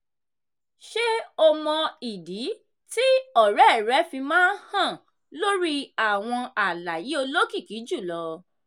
ṣé o mọ ìdí tí ọ̀rẹ́ rẹ fi máa hàn lórí àwọn àlàyé olókìkí jùlọ?